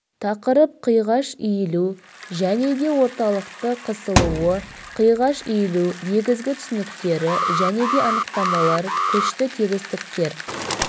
тақырып қиғаш иілу және де орталықты қысылуы қиғаш иілу негізгі түсініктері және де анықтамалар күшті тегістіктер